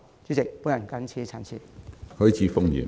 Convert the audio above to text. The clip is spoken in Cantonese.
主席，我謹此陳辭。